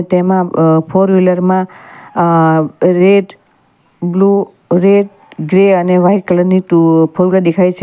તેમાં અહ ફોર વ્હીલરમાં અહ રેડ બ્લુ રેડ ગ્રે અને વાઈટ કલરની ટુ ફોર વ્હીલરમાં દેખાય છે અ--